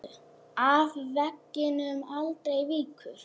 Af veginum aldrei víkur.